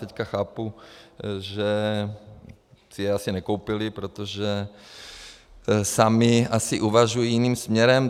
Teď chápu, že si je asi nekoupili, protože sami asi uvažují jiným směrem.